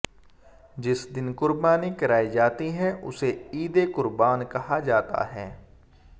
जिस दिन कुर्बानी कराई जाती है उसे ईदे कुर्बान कहा जाता है